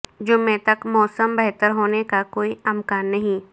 جمعہ تک موسم بہتر ہونے کا کوئی امکان نہیں